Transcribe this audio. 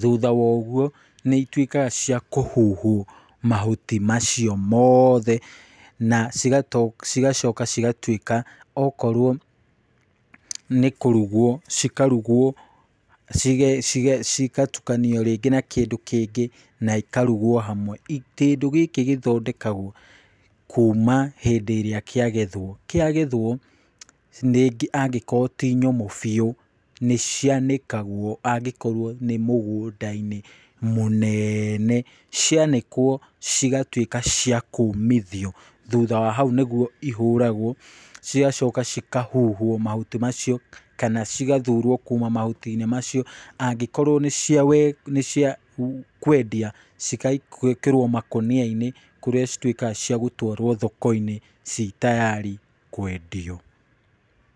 Thutha wa ũguo nĩ ituĩkaga cia kũhuhwo mahuti macio mothe na cigacoka cigatuĩka okorwo nĩ kũrugwo cikarugwo cigatukanio rĩngĩ na kĩndũ kĩngĩ na ikarugwo hamwe. Kĩndũ gĩkĩ kuuma hĩndĩ ĩrĩa kĩagethwo, kiagethwo rĩngĩ angĩkorwo ti nyũmũ biũ nĩ cianĩkagwo angĩkorwo nĩ mũgũnda-inĩ mũnene. Cianĩkwo cigatuĩka cia kũũmithio, thutha wa hau nĩguo ihũragwo cigacoka cikahuhwo mahuti macio kana cigathurwo kuuma mahuti-inĩ macio. Angĩkorwo nĩ cia kwendia cigagĩkĩrwo makũnia-inĩ kũrĩa cituĩkaga cia gũtwarwo thoko-inĩ cii tayari kwendio.